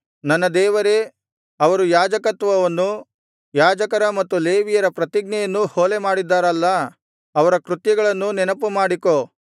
ನನ್ನ ದೇವರೇ ಅವರು ಯಾಜಕತ್ವವನ್ನೂ ಯಾಜಕರ ಮತ್ತು ಲೇವಿಯರ ಪ್ರತಿಜ್ಞೆಯನ್ನೂ ಹೊಲೆಮಾಡಿದ್ದಾರಲ್ಲಾ ಅವರ ಕೃತ್ಯಗಳನ್ನೂ ನೆನಪುಮಾಡಿಕೋ